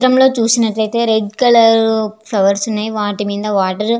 ఈ చిత్రం లో చూసినట్లు అయితే రెడ్ కలర్ ఫ్లవర్స్ ఉన్నాయి వాటి మీద వాటర్ --